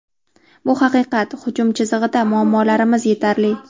Bu haqiqat, hujum chizig‘ida muammolarimiz yetarli.